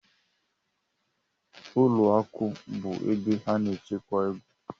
Ụlọ akụ bụ ebe a na-echekwa ego.